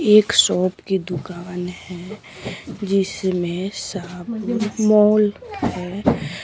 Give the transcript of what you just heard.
एक शॉप की दुकान है जिसमें मॉल है--